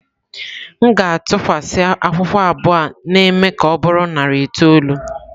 M ga-atụkwasị akwụkwọ abụọ na-eme ka ọ bụrụ narị itoolu.